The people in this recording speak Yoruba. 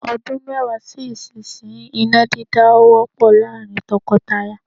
Ọdún mẹ́wàá sí ìsinyìí, iná dídá á wọ́pọ̀ láàrín tọkọtaya.